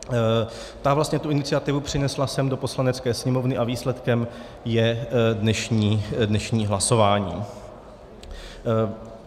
Ta vlastně tu iniciativu přinesla sem do Poslanecké sněmovny a výsledkem je dnešní hlasování.